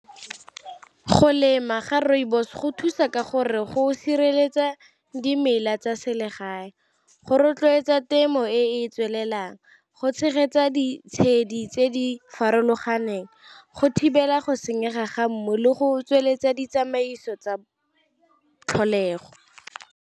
Go lema ga rooibos go thusa ka gore go sireletsa dimela tsa selegae, go rotloetsa temo e e tswelelang, go tshegetsa ditshedi tse di farologaneng, go thibela go senyega ga mmu le go tsweletsa ditsamaiso tsa tlholego.